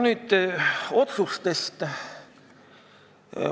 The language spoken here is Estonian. Nüüd otsustest.